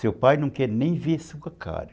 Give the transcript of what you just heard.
Seu pai não quer nem ver sua cara.